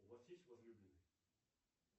у вас есть возлюбленный